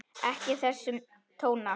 Ekki þessa tóna!